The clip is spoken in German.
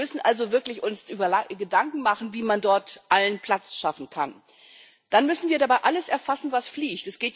Wir müssen uns also wirklich Gedanken machen, wie man dort allen Platz schaffen kann. Dann müssen wir dabei alles erfassen, was fliegt.